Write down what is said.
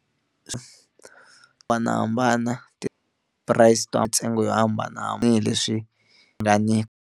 Hambanahambana ti-price ta mintsengo yo hambana hambileswi swi nga ni.